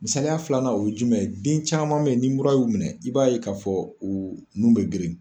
Misaliya filanan o ye jumɛn ye den caman bɛ yen ni mura y'u minɛ i b'a ye k'a fɔ u nun bɛ geren.